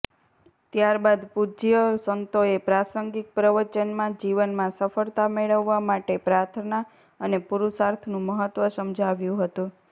ત્યારબાદ પૂજ્ય સંતોએ પ્રાસંગિક પ્રવચનમાં જીવનમાં સફળતા મેળવવા માટે પ્રાર્થના અને પુરૂષાર્થનું મહત્વ સમજાવ્યું હતું